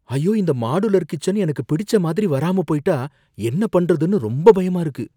ஐயோ! இந்த modular kitchen எனக்கு பிடிச்ச மாதிரி வராம போயிட்டா என்ன பண்றதுன்னு ரொம்ப பயமா இருக்கு.